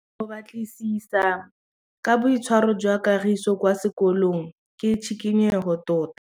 Go batlisisa ka boitshwaro jwa Kagiso kwa sekolong ke tshikinyêgô tota.